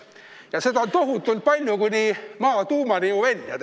Ja seda maad on tohutult palju, kuni Maa tuumani ju välja.